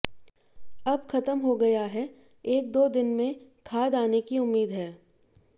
अब खत्म हो गया है एक दो दिन में खाद आने की उम्मीद है